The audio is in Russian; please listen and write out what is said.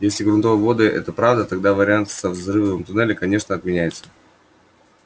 если грунтовые воды это правда тогда вариант со взрывом туннеля конечно отменяется